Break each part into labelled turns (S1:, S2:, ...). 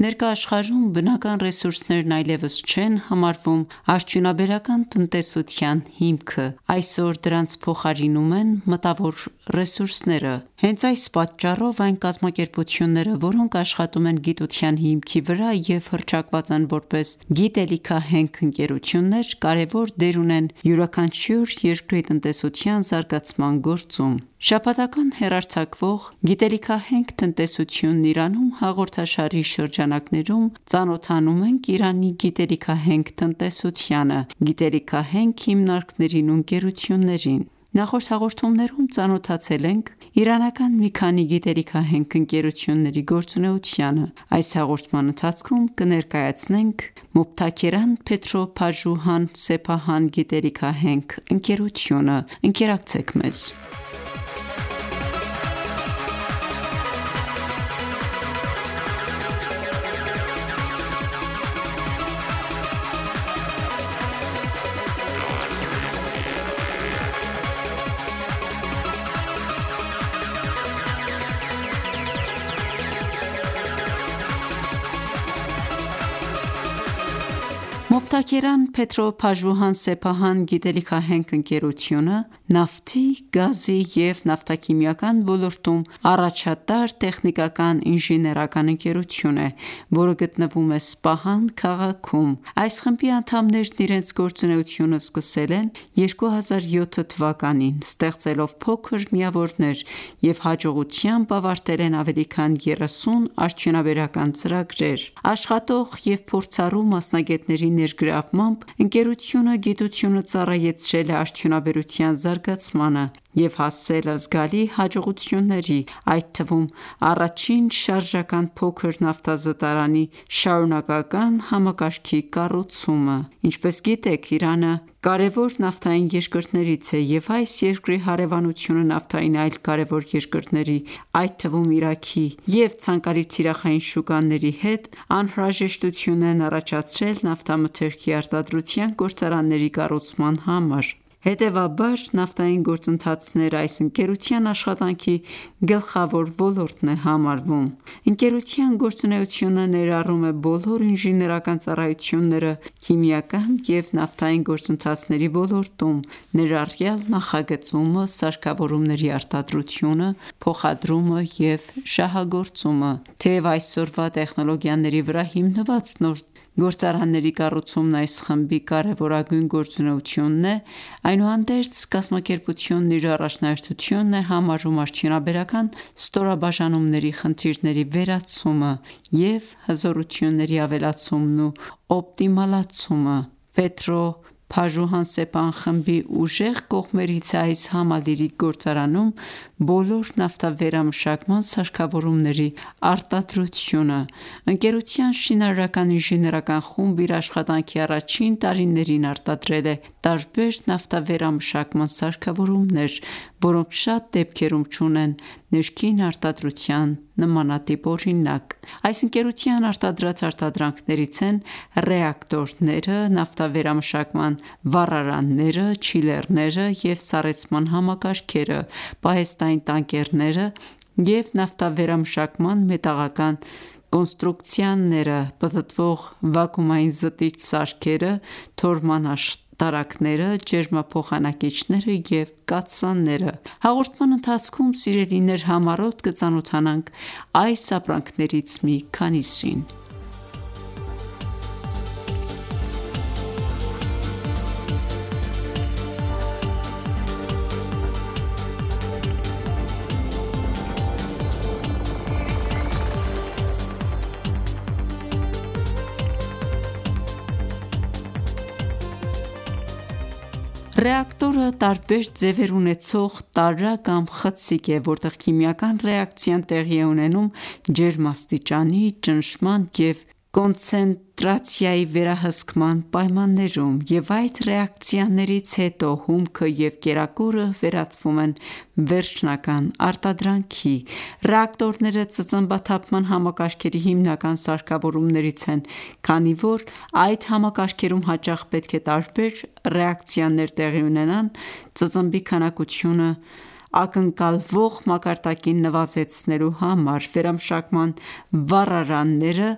S1: Ներկա աշխարհում բնական ռեսուրսներն այլևս չեն համարվում արդյունաբերական տնտեսության հիմքը: Այսօր դրանց փոխարինում են մտավոր ռեսուրսները: Հենց այս պատճառով, այն կազմակերպությունները, որոնք աշխատում են գիտության հիմքի վրա և հռչակված են որպես գիտելիքահենք ընկերություններ, կարևոր դեր ունեն յուրաքանչյուր երկրի տնտեսության զարգացման գործում: Շաբաթական հեռարձակվող «Գիտելիքահենք տնտեսությունն Իրանում» հաղորդաշարի շրջանակներում, ծանոթանում ենք Իրանի գիտելիքահենք տնտեսությանը, գիտելիքահենք հիմնարկներին ու ընկերություններին: Ողջույն, հարգելի ունկնդիրներ: Նախորդ հաղորդումներում ծանոթացել ենք իրանական մի քանի գիտելիքահենք ընկերությունների գործունեությանը։ Այս հաղորդման ընթացքում կներկայացնենք Mobtakeran Petro Pajoohan Sepahan գիտելիքահենք ընկերությունը: Mobtakeran Petro Pajoohan Sepahan գիտելիքահենք ընկերությունը նավթի, գազի և նավթաքիմիական ոլորտում առաջատար տեխնիկական ինժեներական ընկերություն է, որը գտնվում է Սպահան քաղաքում: Այս խմբի անդամներն իրենց գործունեությունը սկսել են 2007 թվականին՝ ստեղծելով փոքր միավորներ և հաջողությամբ ավարտել են ավելի քան 30 արդյունաբերական ծրագրեր։ Աշխատող և փորձառու մասնագետների ներգրավմամբ, ընկերությունը գիտությունը ծառայեցրել է արդյունաբերության զարգացմանը և հասել զգալի հաջողությունների, այդ թվում՝ առաջին շարժական փոքր նավթազտարանի շարունակական համակարգի կառուցումը։ Ինչպես գիտեք, Իրանը կարևոր նավթային երկրներից է, և այս երկրի հարևանությունը նավթային այլ կարևոր երկրների, այդ թվում Իրաքի և ցանկալի թիրախային շուկաների հեւ, անհրաժեշտություն են առաջացարել նավթամթերքի արտադրության գործարանների կառուցման համար: Հետևաբար նավթային գործընթացներն այս ընկերության աշխատանքի գլխավոր ոլորտն է համարվում։ Ընկերության գործունեությունը ներառում է բոլոր ինժեներական ծառայությունները քիմիական և նավթային գործընթացների ոլորտում, ներառյալ՝ նախագծումը, սարքավորումների արտադրությունը, փոխադրումը և շահագործումը: Թեև այսօրվա տեխնոլոգիաների վրա հիմնված նոր գործարանների կառուցումն այս խմբի կարևորագույն գործունեությունն է, այնուհանդերձ, կազմակերպությունն իր առաջնահերթությունն է համարում արդյունաբերական ստորաբաժանումների խնդիրների վերացումը և հզորությունների ավելացումն ու օպտիմալացումը։ Mobtakeran Petro Pajoohan Sepahan խմբի ուժեղ կողմերից է այս համալիրի գործարանում բոլոր նավթավերամշակման սարքավորումների արտադրությունը: Ընկերության շինարարական ինժեներական խումբն իր աշխատանքի առաջին տարիներին արտադրել է տարբեր նավթավերամշակման սարքավորումներ, որոնք շատ դեպքերում չունեն ներքին արտադրության նմանատիպ օրինակ։ Այս ընկերության արտադրած արտադրանքներից են ռեակտորները, նավթավերամշակման վառարանները, չիլերները և սառեցման համակարգերը, պահեստային տանկերները և նավթավերամշակման մետաղական կոնստրուկցիաները, պտտվող վակուումային զտիչ սարքերը, թորման աշտարակները, ջերմափոխանակիչները և կաթսաները: Հաղորդման ընթացքում համառոտ կծանոթանանք այս ապրանքներից մի քանիսին։ Ռեակտորը տարբեր ձևեր ուենցողտարա կամ խցիկ է, որտեղ քիմիական ռեակցիան տեղի է ունենում ջերմաստիճանի, ճնշման և կոնցենտրացիայի վերահսկման պայմաններում, և այդ ռեակցիաներից հետո հումքը և կերակուրը վերածվում են վերջնական արտադրանքի: Ռեակտորները ծծմբաթափման համակարգերի հիմնական սարքավորումներից են, քանի որ այդ համակարգերում հաճախ պետք է տարբեր ռեակցիաներ տեղի ունենան՝ ծծմբի քանակությունը ակնկալվող մակարդակին նվազեցնելու համար: Վերամշակման վառարանները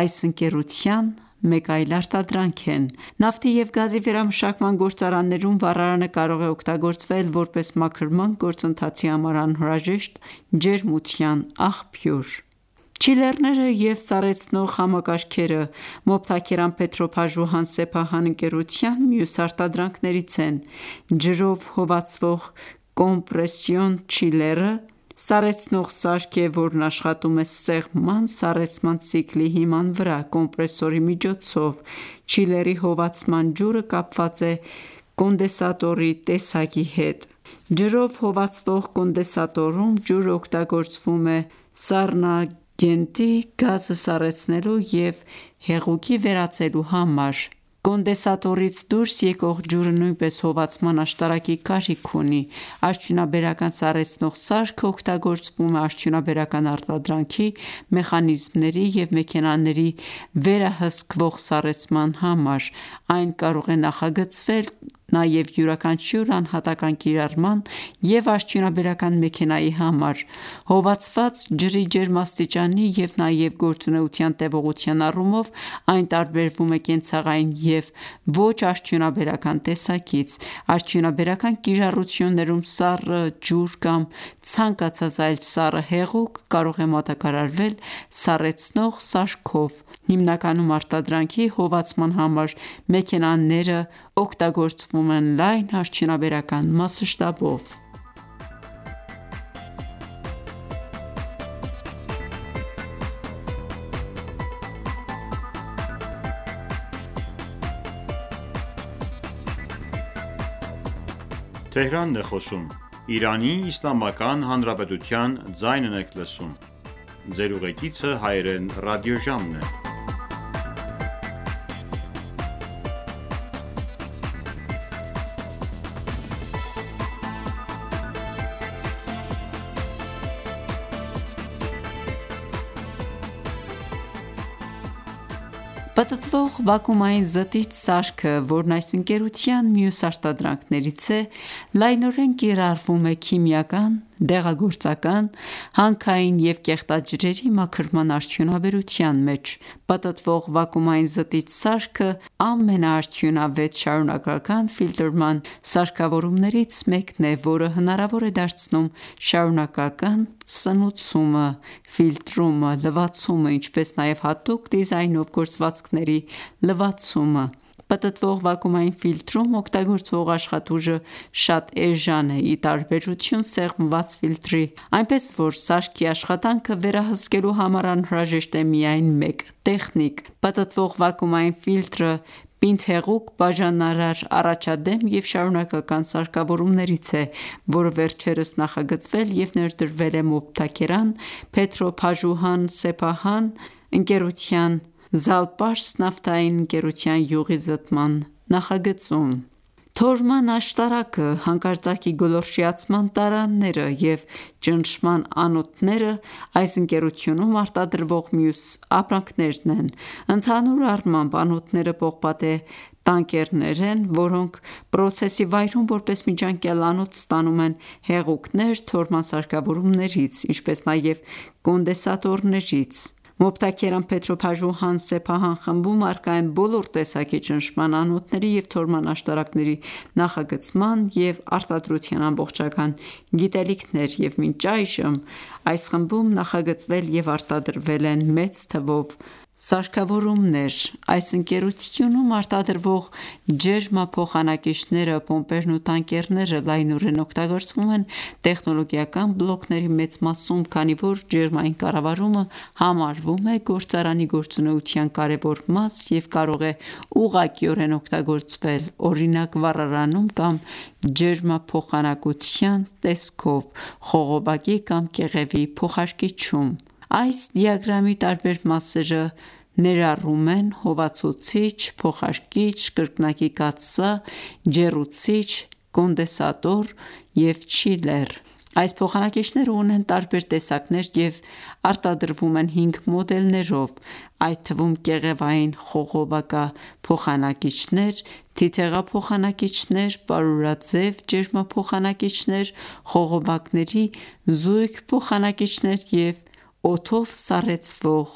S1: այս ընկերության մեկ այլ արտադրանք են: Նավթի և գազի վերամշակման գործարաններում վառարանը կարող է օգտագործվել որպես մաքրման գործընթացի համար անհրաժեշտ ջերմության աղբյուր: Չիլերները և սառեցնող համակարգերը Mobtakeran Petro Pajoohan Sepahan ընկերության մյուս արտադրանքներից են: Ջրով հովացվող կոմպրեսիոն չիլերը սառեցնող սարք է, որն աշխատում է սեղմման սառեցման ցիկլի հիման վրա՝ կոմպրեսորի միջոցով: Չիլերի հովացման ջուրը կապված է կոնդենսատորի տեսակի հետ: Ջրով հովացվող կոնդենսատորում ջուրն օգտագործվում է սառնագենտի գազը սառեցնելու և հեղուկի վերածելու համար: Կոնդենսատորից դուրս եկող ջուրը նույնպես հովացման աշտարակի կարիք ունի: Արդյունաբերական սառեցնող սարքը օգտագործվում է արդյունաբերական արտադրանքի, մեխանիզմների և մեքենաների վերահսկվող սառեցման համար: Այն կարող է նախագծվել նաև յուրաքանչյուր անհատական ​​կիրառման և արդյունաբերական մեքենայի համար: Հովացված ջրի ջերմաստիճանի և նաև գործունեության տևողության առումով այն տարբերվում է կենցաղային և ոչ արդյունաբերական տեսակից: Արդյունաբերական կիրառություններում սառը ջուր կամ ցանկացած այլ սառը հեղուկ կարող է մատակարարվել սառեցնող սարքով: Հիմնականում արտադրանքի հովացման համար մեքենաներն օգտագործվում են լայն արդյունաբերական մասշտաբով։ Պտտվող վակուումային զտիչ սարքը, որն այս ընկերության մյուս արտադրանքներից է, լայնորեն կիրառվում է քիմիական, դեղագործական, հանքային և կեղտաջրերի մաքրման արդյունաբերության մեջ: Պտտվող վակուումային զտիչ սարքը ամենաարդյունավետ շարունակական ֆիլտրման սարքավորումներից մեկն է, որը հնարավոր է դարձնում շարունակական սնուցումը, ֆիլտրումը, լվացումը, ինչպես նաև հատուկ դիզայնով, գործվածքների լվացումը: Պտտվող վակուումային ֆիլտրում օգտագործվող աշխատուժը շատ էժան է, ի տարբերություն սեղմված ֆիլտրի, այնպես որ սարքի աշխատանքը վերահսկելու համար անհրաժեշտ է միայն մեկ տեխնիկ: Պտտվող վակուումային ֆիլտրը պինդ-հեղուկ բաժանարար առաջադեմ և շարունակական սարքավորումներից է, որը վերջերս նախագծվել և ներդրվել է Mobtakeran Petro Pajoohan Sepahan ընկերության Զալպարս նավթային ընկերության յուղի զտման նախագծում։ Թորման աշտարակը, հանկարծակի գոլորշիացման տարաները և ճնշման անոթները այս ընկերությունում արտադրվող մյուս ապրանքներն են: Ընդհանուր առմամբ, անոթները պողպատե տանկերներ են, որոնք պրոցեսի վայրում որպես միջանկյալ անոթ ստանում են հեղուկներ թորման սարքավորումներից, ինչպես նաև կոնդենսատորներից: Mobtakeran Petro Pajoohan Sepahan խմբում առկա են բոլոր տեսակի ճնշման անոթների և թորման աշտարակների նախագծման և արտադրության ամբողջական գիտելիքներ, և մինչ այժմ այս խմբում նախագծվել և արտադրվել են մեծ թվով սարքավորումներ: Այս ընկերությունում արտադրվող ջերմափոխանակիչները՝ պոմպերն ու տանկերները, լայնորեն օգտագործվում են տեխնոլոգիական բլոկների մեծ մասում, քանի որ ջերմային կառավարումը համարվում է գործարանի գործունեության կարևոր մաս և կարող է ուղղակիորեն օգտագործվել, օրինակ՝ վառարանում կամ ջերմափոխանակության տեսքով, խողովակի կամ կեղևի փոխարկիչում: Այս դիագրամի տարբեր մասերը ներառում են հովացուցիչ, փոխարկիչ, կրկնակի կաթսա, ջեռուցիչ, կոնդենսատոր և չիլեր: Այս փոխանակիչներն ունեն տարբեր տեսակներ և արտադրվում են 5 մոդելներով, այդ թվում՝ կեղևային խողովակափոխանակիչներ, թիթեղափոխանակիչներ, պարուրաձև ջերմափոխանակիչներ, խողովակների զույգ փոխանակիչներ և օդաով սառեցվող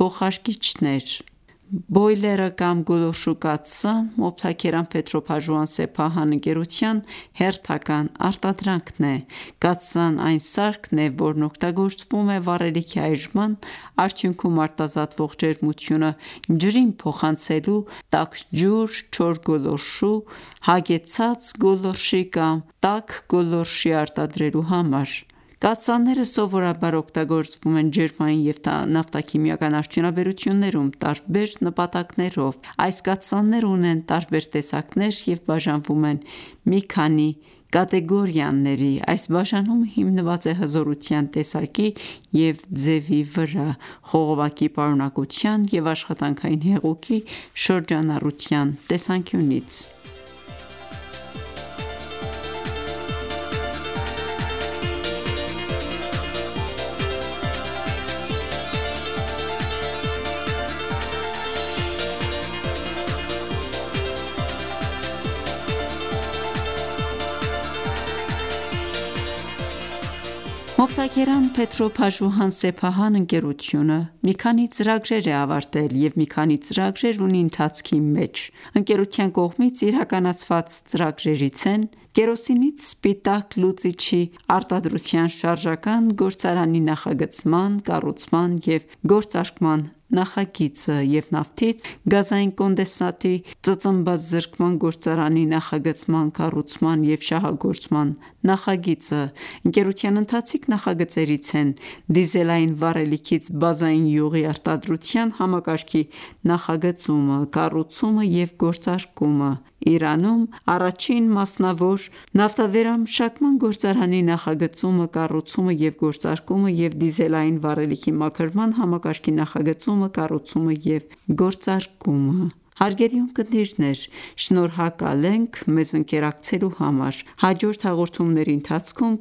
S1: փոխարկիչներ: Բոյլերը կամ գոլորշու կաթսան Mobtakeran Petro Pajoohan Sepahan ընկերության հերթական արտադրանքն է: Կաթսան այն սարքն է, որն օգտագործվում է վառելիքի այրման արդյունքում արտազատվող ջերմությունը ջրին փոխանցելու՝ տաք ջուր, չոր գոլորշու, հագեցած գոլորշի կամ տաք գոլորշի արտադրման համար: Կաթսաները սովորաբար օգտագործվում են ջերմային և նավթաքիմիական արդյունաբերություններում տարբեր նպատակներով: Այս կաթսաները ունեն տարբեր տեսակներ և բաժանվում են մի քանի կատեգորիաների. Այս բաժանումը հիմնված է հզորության, տեսակի և ձևի վրա, խողովակի պարունակության և աշխատանքային հեղուկի շրջանառության տեսանկյունից: Mobtakeran Petro Pajoohan Sepahan ընկերությունը մի քանի ծրագրեր է ավարտել և մի քանի ծրագրեր ունի ընթացքի մեջ: Ընկերության կողմից իրականացված ծրագրերից են կերոսինից սպիտակ լուծիչի արտադրության շարժական գործարանի նախագծման, կառուցման և գործարկման նախագիծը, և նաֆթից գազային կոնդենսատի ծծմբազրկման գործարանի նախագծման, կառուցման և շահագործման նախագիծը։ Ընկերության ընթացիկ նախագծերից են դիզելային վառելիքից բազային յուղի արտադրության համակարգի նախագծումը, կառուցումը և գործարկումը, Իրանում առաջին մասնավոր նավթավերամշակման գործարանի նախագծումը, կառուցումը և գործարկումը և դիզելային վառելիքի մաքրման համակարգի նախագծումը, կառուցումը և գործարկումը։ Հարգելի ունկնդիրներ շնորհակալ ենք մեզ ընկերակցելու համար։ Հաջորդ հաղորդումների ընթացքում